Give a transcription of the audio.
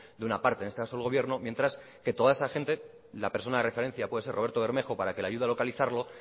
de una parte en este caso del gobierno mientras que toda esa gente y la persona de referencia puede ser roberto bermejo para que le ayude a localizarlo